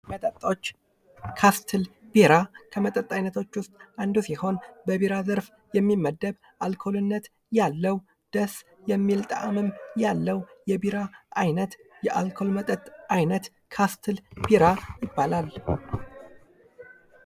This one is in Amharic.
መጠጦች፦ ካስትል ቢራ ፦ከመጠጥ አይነቶች ውስጥ አንዱ ሲሆን በቢራ ዘርፍ የሚመደብ ፣ አልኮልነት ያለው ፣ ደስ የሚል ጣዕምም ያለው የቢራ ዓይነት የአልኮል መጠጥ አይነት ካስትል ቢራ ይባላል ።